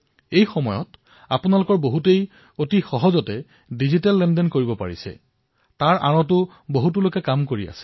এই সময়ছোৱাত অধিকাংশ লোকে যিয়ে ডিজিটেল লেনদেন কৰি আছে সেয়াও চলাই ৰাখিবলৈ বহু মানুহে কাম কৰি আছে